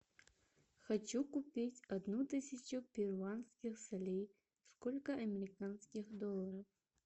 хочу купить одну тысячу перуанских солей сколько американских долларов